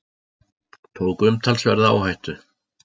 Tók umtalsverða áhættu